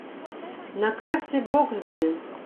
на карте боксберри